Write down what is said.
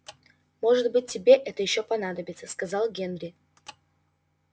может быть тебе это ещё понадобится сказал генри